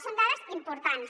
són dades importants